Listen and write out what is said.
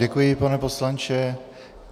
Děkuji, pane poslanče.